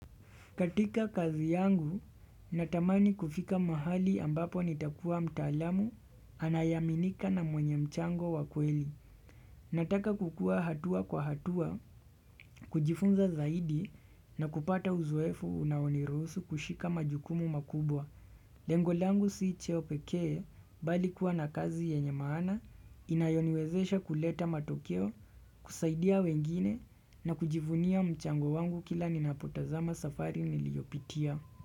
Katika kazi yangu, natamani kufika mahali ambapo nitakuwa mtaalamu anaye aminika na mwenye mchango wakweli. Nataka kukua hatua kwa hatua kujifunza zaidi na kupata uzoefu unao niruhusu kushika majukumu makubwa. Lengo langu si cheo pekee bali kuwa na kazi yenye maana inayo niwezesha kuleta matokeo, kusaidia wengine na kujivunia mchango wangu kila ninapo tazama safari niliyo pitia.